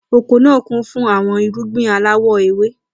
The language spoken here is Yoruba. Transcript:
Oko naa kun fun awọn irugbin alawọ ewe.